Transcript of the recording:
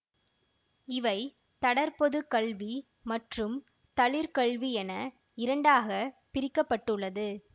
இவை தடர் பொது கல்வி மற்றும் தழிற்கல்வியென இரண்டாக பிரிக்க பட்டுள்ளது